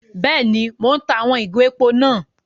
Béèni, Mo n tá àwon ìgò èpò náà